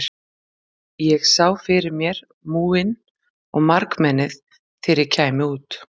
Ég sá fyrir mér múginn og margmennið þegar ég kæmi út.